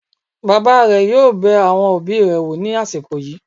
Bàbá rẹ̀ yóò bẹ àwọn òbí rẹ̀ wò ní àsìkò yìí